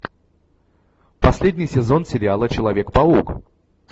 последний сезон сериала человек паук